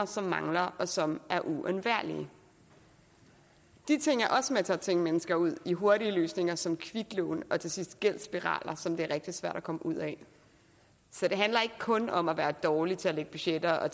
som mangler og som er uundværlige de ting er også med til at tvinge mennesker ud i hurtige løsninger som kviklån og til sidst gældsspiraler som det er rigtig svært at komme ud af så det handler ikke kun om at være dårlig til at lægge budgetter og